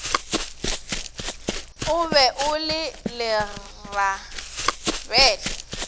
o be o le lerabele